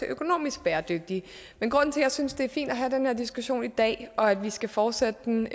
økonomisk bæredygtige men grunden til at jeg synes det er fint at have den her diskussion i dag og at vi skal fortsætte den